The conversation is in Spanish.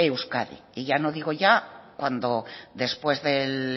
euskadi y ya no digo cuando después del